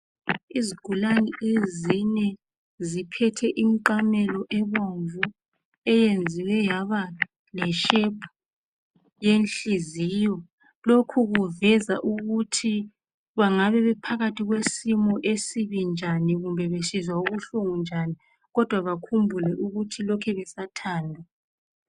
Izigulane ezine ziphethe imqamelo ebomvu eyenziwe yaba leshepu yenhliziyo. Lokhu kuveza ukuthi bangabe bephakathi kwesimo esibi njani kumbe besizwa ubuhlungu njani, kodwa bakhumbule ukuthi lokhe besathandwa.